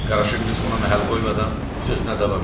Qaraşın qız ona məhəl qoymadan sözünə davam etdi.